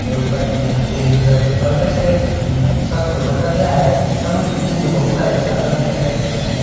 और ऊपर में ग्रीन कलर के परदे से अह छत को ढका गया है एवं इस बिल्डिंग में बहुत सारे झालर भी लगाए गए हैं।